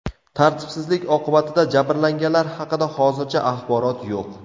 Tartibsizlik oqibatida jabrlanganlar haqida hozircha axborot yo‘q.